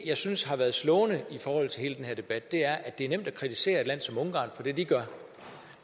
jeg synes har været slående i forhold til hele den her debat er at det er nemt at kritisere et land som ungarn for det de gør